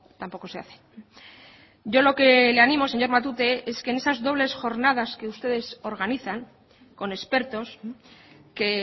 tampoco se hace yo lo que le animo señor matute es que en esas dobles jornadas que ustedes organizan con expertos que